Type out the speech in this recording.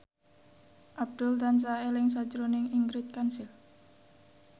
Abdul tansah eling sakjroning Ingrid Kansil